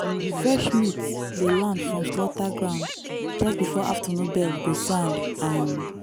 fresh meat dey land from slaughter ground just before afternoon bell go sound. um